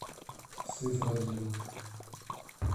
сызранью